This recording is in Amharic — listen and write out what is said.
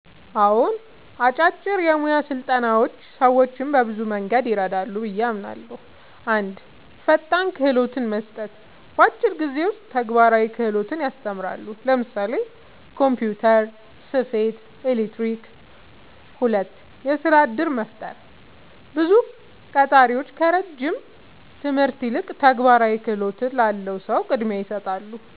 አዎን፣ አጫጭር የሙያ ስልጠናዎች ሰዎችን በብዙ መንገድ ይረዳሉ ብዬ አምናለሁ፦ 1. ፈጣን ክህሎት መስጠት – በአጭር ጊዜ ውስጥ ተግባራዊ ክህሎት ያስተምራሉ (ለምሳሌ ኮምፒውተር፣ ስፌት፣ ኤሌክትሪክ)። 2. የሥራ እድል መፍጠር – ብዙ ቀጣሪዎች ከረጅም ትምህርት ይልቅ ተግባራዊ ክህሎት ላለው ሰው ቅድሚያ ይሰጣሉ።